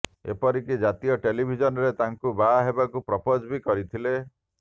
ଏପରିକି ଜାତୀୟ ଟେଲିଭିଜନ୍ରେ ତାଙ୍କୁ ବାହା ହେବାକୁ ପ୍ରପୋଜ ବି କରିଥିଲେ